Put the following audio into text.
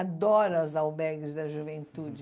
Adoro as albergues da juventude.